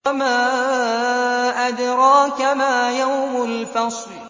وَمَا أَدْرَاكَ مَا يَوْمُ الْفَصْلِ